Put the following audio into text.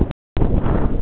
Mér var gefið það í gær.